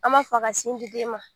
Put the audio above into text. An m'a fɔ a ka sin di den ma